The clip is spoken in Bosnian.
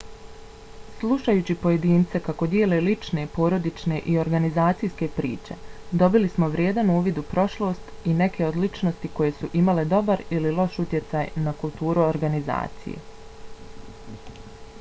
slušajući pojedince kako dijele lične porodične i organizacijske priče dobili smo vrijedan uvid u prošlost i neke od ličnosti koje su imale dobar ili loš utjecaj na kulturu organizacije